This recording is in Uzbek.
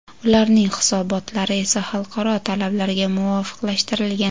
ularning hisobotlari esa xalqaro talablarga muvofiqlashtirilgan.